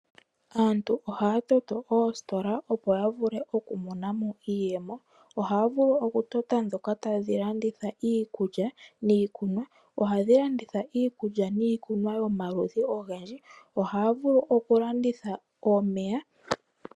Aantu ohaya toto oositola, opo ya vule okumona mo iiyemo. Ohaya vulu okutota ndhoka tadhi landitha iikulya niikunwa. Ohadhi landitha iikulya niikunwa yomaludhi ogendje. Ohaa vulu okulanditha omeya.